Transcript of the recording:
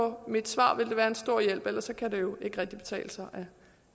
mit svar vil det være en stor hjælp for ellers kan det jo ikke rigtig betale sig